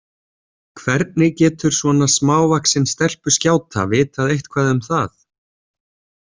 Hvernig getur svona smávaxin stelpuskjáta vitað eitthvað um það?